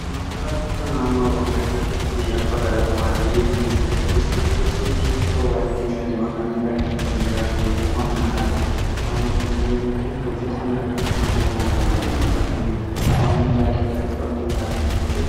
Qonnaan bulaa jechuun naannoo oromiyaa keessatti akka barataa mala biyya keenya itiyoophiyaa keessatti parsantii 75 ol namni kanneen ittiin jiraatu hojii qonnaadhaani. Qonnaan bultoota jechuun hojii qonnaa irratti namoota bobba'an hojjetanii jechuudha. Qonni baadiyyaa fi qonni magaalaa akkuma jiru